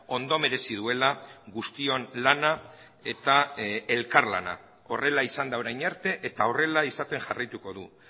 ondo merezi duela guztion lana eta elkarlana horrela izan da orain arte eta horrela izaten jarraituko du